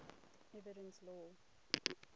evidence law